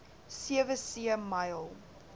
sewe see myl